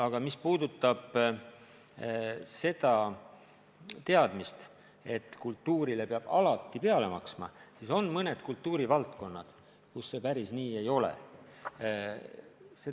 Aga mis puudutab seda väidet, et kultuurile peab alati peale maksma, siis on mõned kultuurivaldkonnad, kus see päris nii ei ole.